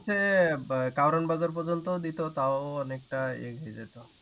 হা এ কাওরান বাজার পর্যন্ত দিতো তাও অনেকটা হয়ে যেত